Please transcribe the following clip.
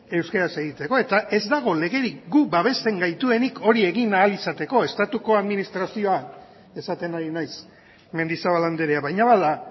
euskaraz egiteko eta ez dago legerik guk babesten gaituenik hori egin ahal izateko estatuko administrazioa esaten ari naiz mendizabal andrea baina bada